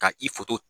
Ka i foto